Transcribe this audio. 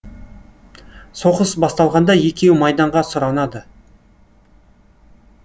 соғыс басталғанда екеуі майданға сұранады